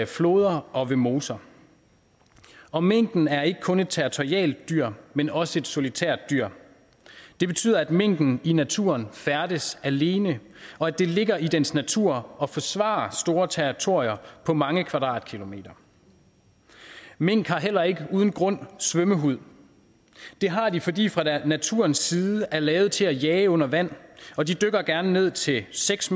floder og ved moser og minken er ikke kun et territorialt dyr men også et solitært dyr det betyder at minken i naturen færdes alene og at det ligger i dens natur at forsvare store territorier på mange kvadratkilometer mink har heller ikke uden grund svømmehud det har de fordi de fra naturens side er lavet til at jage under vand og de dykker gerne ned til seks